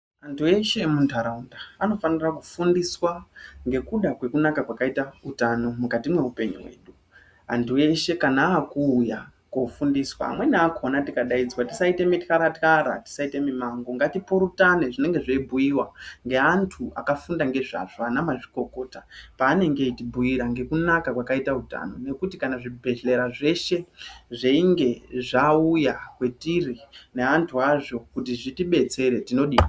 Antu eshe emunharaunda anofanire kufundiswa ngekuda kwekunaka kwakaite utano mukati mweupenyu hwedu, antu eshe kana akuuya kofundiswa amweni akona tikadaidzwa tisaite mutyaratyara tisiate mimango ngatipurutane zvinenge zveibhuyiwa ngeantu akafunda ngezvazvo ana mazvikokota paanenge eitubhuyira ngekunaka kwakaite utano, ngekuti zvibhehleya zveshe zvechinge zvauya kwatiri neantu azvo tinodini?